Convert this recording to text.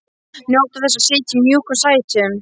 Njóta þess að sitja í mjúkum sætum.